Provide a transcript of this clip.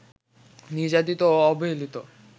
নির্যাতিত ও অবহেলিত